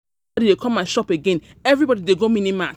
Nobody dey come my shop again, everybody dey go mini mart